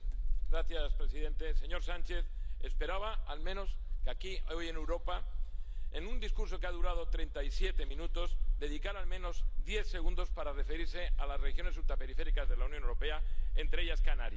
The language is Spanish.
Señor presidente. Señor Sánchez, esperaba al menos que aquí hoy, en Europa, en un discurso que ha durado treinta y siete minutos, dedicara al menos diez segundos para referirse a las regiones ultraperiféricas de la Unión Europea, entre ellas Canarias.